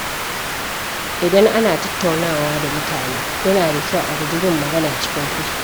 Idan ana tattaunawa da mutane, yana da kyau a guji yin magana cikin fushi.